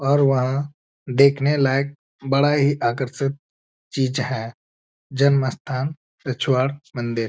और वहाँ देखने लायक बड़ा ही आकर्षक चीज है। जन्म स्थान रछवाड़ मंदिर।